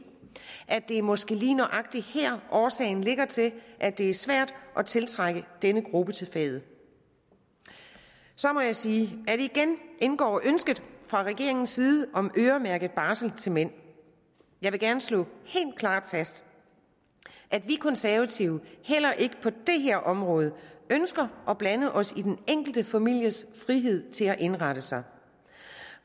at det måske er lige nøjagtig her årsagen ligger til at det er svært at tiltrække denne gruppe til faget så må jeg sige at igen indgår ønsket fra regeringens side om øremærket barsel til mænd jeg vil gerne slå helt klart fast at vi konservative heller ikke på det her område ønsker at blande os i den enkelte families frihed til at indrette sig